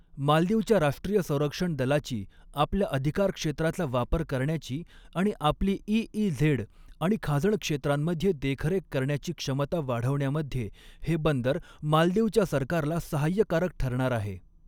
मालदीवच्या राष्ट्रीय संरक्षण दलाची आपल्या अधिकारक्षेत्राचा वापर करण्याची आणि आपली ईईझे़ड आणि खाजण क्षेत्रांमध्ये देखरेख करण्याची क्षमता वाढवण्यामध्ये हे बंदर मालदीवच्या सरकारला सहाय्यकारक ठरणार आहे.